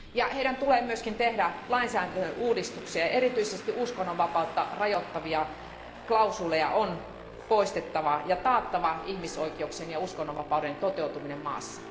Heidän tulee myös tehdä lainsäädäntöuudistuksia, ja erityisesti uskonnonvapautta rajoittavia klausuuleja on poistettava laista ja taattava ihmisoikeuksien ja uskonnonvapauden toteutuminen maassa.